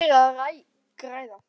En hver er að græða?